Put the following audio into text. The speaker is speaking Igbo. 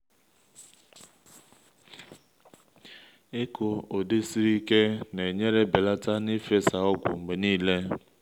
ịkụ ụdị siri ike na-enyere belata n’ifesa ọgwụ mgbe niile